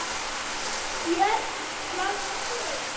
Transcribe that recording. Björn: Hvað með þig?